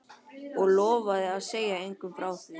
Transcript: Og lofa að segja engum frá því?